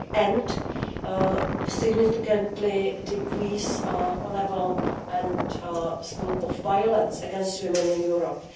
and significantly decrease the level and scope of violence against women in Europe.